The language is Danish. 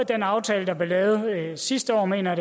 den aftale der blev lavet sidste år mener